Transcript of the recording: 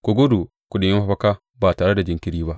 Ku gudu ku nemi mafaka ba tare da jinkiri ba!